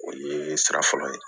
O ye sira fɔlɔ ye